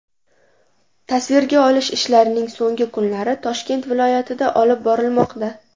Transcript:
Tasvirga olish ishlarining so‘nggi kunlari Toshkent viloyatida olib borilmoqda.